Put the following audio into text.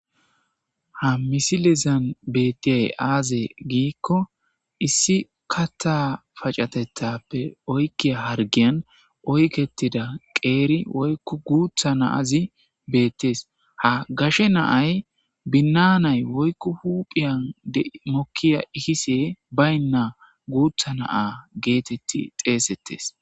ha misilezan bettiyay aaze giikko issi kathaa pacatethappe oykkiya hargiyan oykettida qeeri woykku guutha na7azi beettes. ha gashe na7ay binnaanay woykku huphiyan mokkiya ikise baynna guutha na7aa geethethi xeesettes.